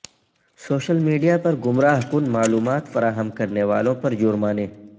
social media پر گمراہ کن معلومات فراہم کرنے والوں پرجرمانے